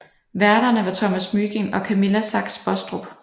Værterne var Thomas Mygind og Camilla Sachs Bostrup